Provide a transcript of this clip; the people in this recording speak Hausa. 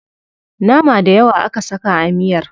Nama dayawa aka saka a miyar.